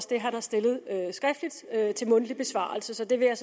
det han har stillet skriftligt til mundtlig besvarelse så det vil jeg